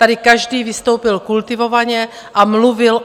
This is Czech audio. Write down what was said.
Tady každý vystoupil kultivovaně a mluvil